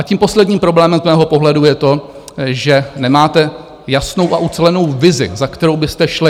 A tím posledním problémem z mého pohledu je to, že nemáte jasnou a ucelenou vizi, za kterou byste šli.